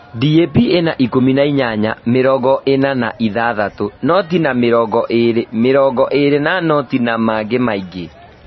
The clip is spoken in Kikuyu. DAP ĩna ikũmi na inyanya - mĩringo ĩna na ithathatũ - noti na mĩrongo ĩrĩ - mĩringo ĩri na noti na mangĩ maingĩ